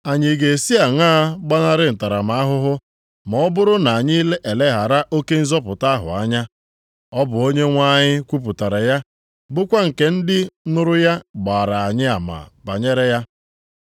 Anyị ga-esi aṅaa gbanarị ntaramahụhụ ma ọ bụrụ na anyị eleghara oke nzọpụta ahụ anya? Ọ bụ Onyenwe anyị kwupụtara ya, bụkwa nke ndị nụrụ ya gbaara anyị ama banyere ya.